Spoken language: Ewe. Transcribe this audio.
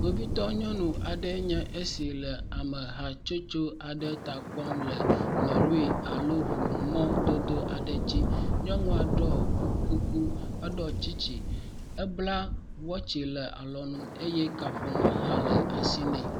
Kpovitɔ nyɔnu aɖe enye esi le ame hatsotso aɖe ta kpɔm le lɔri alo ŋu mɔ dodo aɖe dzi. Nyɔnua ɖɔ kuku, eɖɔ tsistsi, ebla watsi le alɔnu eye kaƒomɔ hã le asi nɛ.